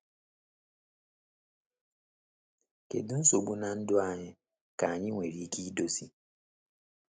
Kedu nsogbu na ndụ anyị ka anyị nwere ike idozi?